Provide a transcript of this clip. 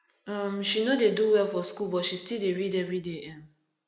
um she no dey do well for skool but she still dey read everyday um